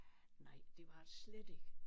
Nej det var det slet ikke